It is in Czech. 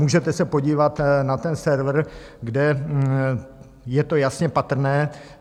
Můžete se podívat na ten server, kde je to jasně patrné.